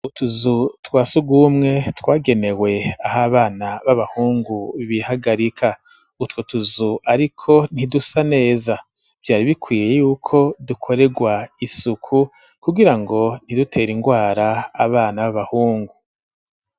Utuzu twa sugumwe twagenewe aho abana b'abahungu bihagarika utwu utuzu, ariko ntidusa neza vyari bikwiye yuko dukorerwa isuku kugira ngo ntidutera ingwara abana b'abahungu.